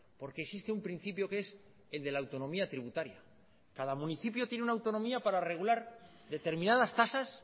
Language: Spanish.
porque existe un principio que es el de la autonomía tributaria cada municipio tiene una autonomía para regular determinadas tasas